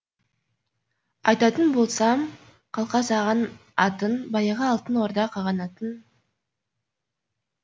айтатын болсам қалқа саған атын баяғы алтын орда қағанатын